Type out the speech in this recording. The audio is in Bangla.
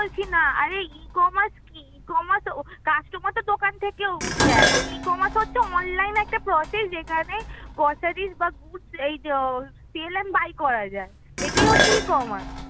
আরে ecommerce কি? ecommerce customer তো দোকান থেকেও দেখ ecommerce হচ্ছে online একটা process এখানে groceries বা goods এই যো sell and buy করা যায় এটাই হচ্ছে ecommece